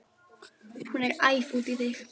Hún er æf út í þig.